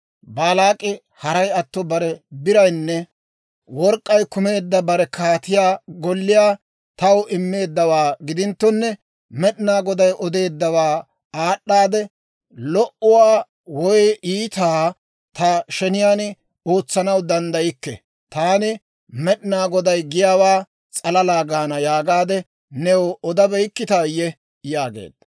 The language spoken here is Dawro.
‹Baalaak'i haray atto bare biraynne work'k'ay kumeedda bare kaatiyaa golliyaa taw immeeddawaa gidinttonne, Med'inaa Goday odeeddawaa aad'aadde, lo"uwaa woy iitaa ta sheniyaan ootsanaw danddaykke. Taani Med'inaa Goday giyaawaa s'alalaa gaana› yaagaade new odabeykkitayye?» yaageedda.